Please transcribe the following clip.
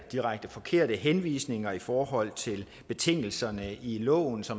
direkte forkerte henvisninger i forhold til betingelserne i loven så